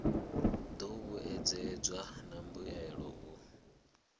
do vhuedzedzwa na mbuelo u